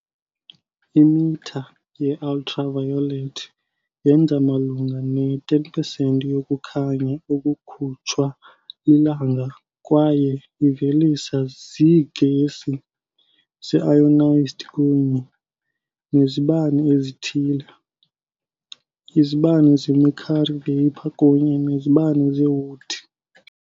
Imitha ye-Ultraviolet yenza malunga ne-10 pesenti yokukhanya okukhutshwa liLanga kwaye iveliswa ziigesi ze-ionized kunye nezibane ezithile, izibane zemercury vapor kunye nezibane zeWood.